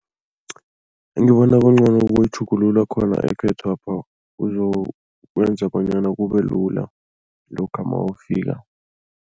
Engibona kungcono kukuyitjhugulula khona ekhethwapha, kuzokwenza bonyana kubelula lokha mawufika.